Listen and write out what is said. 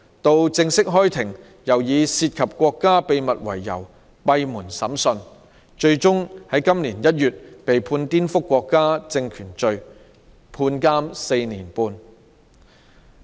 到了正式開庭的時候，又以"涉及國家秘密"為由進行閉門審訊，他最終在今年1月被判顛覆國家政權罪，判監4年半。